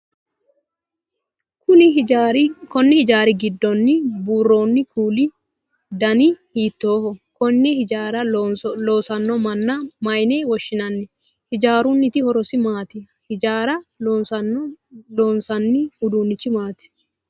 Kunni hijaari gidoonni boroonni kuuli dananni hiittooho? Konne hijaara loosano manna mayinne woshinnanni? Hijaarunniti horosi maati? Hijaara loonsanni uduunichi maati.